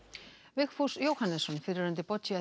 Vigfús Jóhannesson fyrrverandi